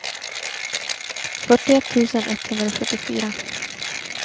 fyrtioett tusen etthundrasjuttiofyra